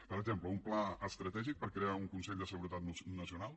per exemple un pla estratègic per crear un consell de seguretat nacional